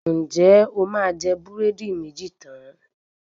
Ǹjẹ́ o máa jẹ búrẹ́dí méjì tán?